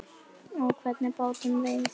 Á hvernig bátum veiðið þið?